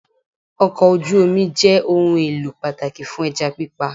Okò ojú Omi jẹ́ ohun èlò pàtàkì fún ẹja pípa